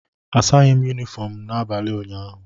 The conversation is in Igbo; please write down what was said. Asaghị m Yunifọm m n'abalị ụnyaahụ